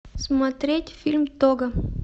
смотреть фильм того